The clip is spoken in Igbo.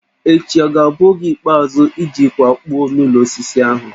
Echi ọ ga-abụ oge ikpeazụ iji kwakpuo n'ụlọ osisi ahụ?